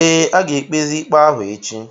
ee, a ga-ekpezi ikpe ahụ echi